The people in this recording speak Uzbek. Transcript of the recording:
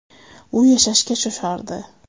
U yashashga shoshardi.